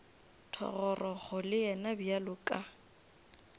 thogorogo le yena bjalo ka